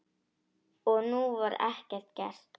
Og nú var ekkert gert.